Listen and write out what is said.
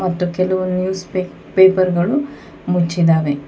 ಮತ್ತು ಕೆಲವು ನ್ಯೂಸ್ ಪೇಪ್ ಪೇಪರ್ ಗಳು ಮುಚ್ಚಿದ್ದಾವೆ.